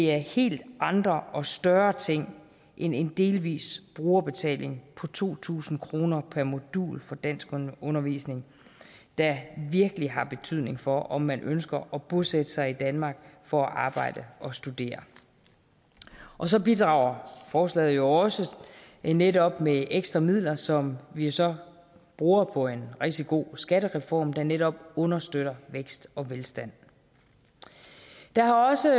er helt andre og større ting end en delvis brugerbetaling på to tusind kroner per modul for danskundervisning der virkelig har betydning for om man ønsker at bosætte sig i danmark for at arbejde og studere og så bidrager forslaget jo også netop med ekstra midler som vi så bruger på en rigtig god skattereform der netop understøtter vækst og velstand der har også